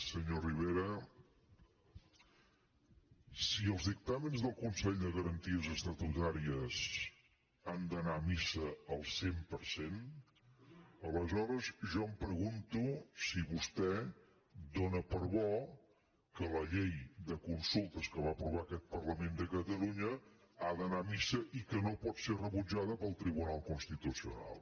senyor rivera si els dictàmens del consell de garanties estatutàries han d’anar a missa al cent per cent aleshores jo em pregunto si vostè dóna per bo que la llei de consultes que va aprovar aquest parlament de catalunya ha d’anar a missa i que no pot ser rebutjada pel tribunal constitucional